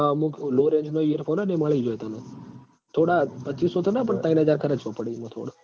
અમુક low range નાં earphone હોય ન એ મળી જોય તન થોડા પચીસો તો ના પણ તૈણ હજાર ખરચવા પડ ઈમ થોડુ